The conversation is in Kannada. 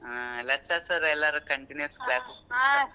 ಹಾ lectures ರು ಎಲ್ಲರು continuous .